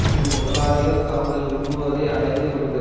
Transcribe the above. பின் முதலாளிகள் தாங்கள் விரும்புவதை அடைந்து விடுவர்